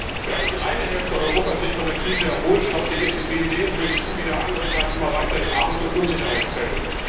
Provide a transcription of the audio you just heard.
Während die eine Hälfte Europas sich von der Krise erholt, schaut die EZB seelenruhig zu, wie der andere Teil immer weiter in Armut und Unsicherheit fällt.